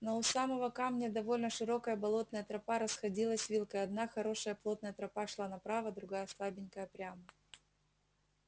но у самого камня довольно широкая болотная тропа расходилась вилкой одна хорошая плотная тропа шла направо другая слабенькая прямо